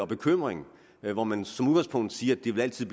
bekymring hvor man som udgangspunkt siger at det altid